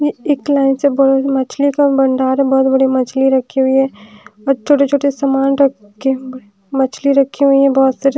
एक लाइन से बहुत मछली का भंडार है बहोत बड़ी मछली रखी हुई है और छोटे छोटे समान रखे हुए मछली रखे हुई है बहोत सारी।